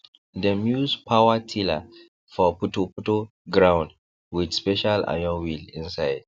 dem use power tiller for putoputo ground with special iron wheel inside